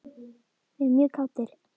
Við erum mjög kátir.